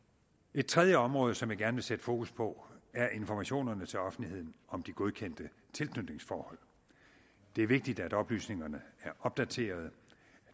et tredje område som jeg gerne vil sætte fokus på er informationerne til offentligheden om de godkendte tilknytningsforhold det er vigtigt at oplysningerne er opdaterede